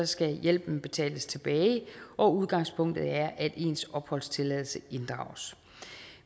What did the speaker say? skal hjælpen betales tilbage og udgangspunktet er at ens opholdstilladelse inddrages